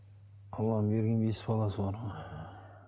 алланың берген бес баласы бар ғой